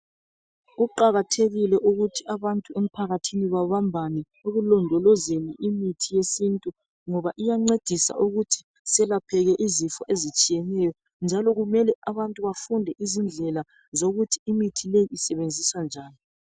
Kuqakathekile ukuthi abantu emphakathini babambane ekulondolozeni imithi yesintu ngoba iyancedisa ukuthi selapheke izifo ezitshiyeneyo njalo kumele abantu bafunde izindlela zokuthi mithi leyi isetshenziswa njani.